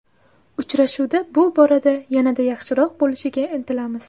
Uchrashuvda bu borada yanada yaxshiroq bo‘lishga intilamiz.